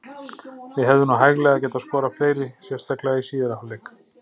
Við hefðum nú hæglega getað skorað fleiri, sérstaklega í síðari hálfleik.